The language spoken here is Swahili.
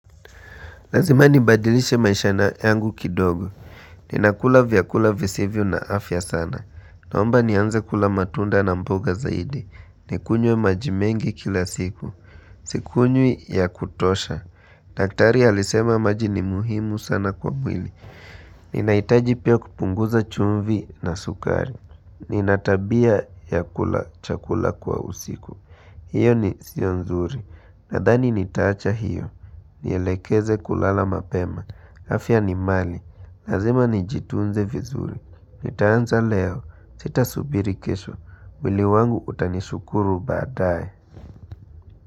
Lazima nibadilishe maisha na yangu kidogo. Ninakula vyakula visivyo na afya sana. Naomba nianze kula matunda na mboga zaidi. Nikunywe maji mengi kila siku. Sikunywi ya kutosha. Daktari alisema maji ni muhimu sana kwa mwili. Ninaitaji pia kupunguza chumvi na sukari. Ninatabia ya kula chakula kwa usiku. Hiyo ni sio nzuri. Nadhani nitaacha hiyo. Nielekeze kulala mapema, afya ni mali, lazima nijitunze vizuri Nitaanza leo, sita subiri kesho, wili wangu utanishukuru baadae.